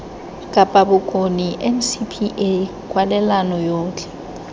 kapa bokone ncpa kwalelano yotlhe